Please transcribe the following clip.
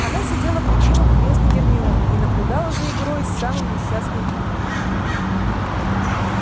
она сидела в любимом кресле гермионы и наблюдала за игрой с самым несчастным видом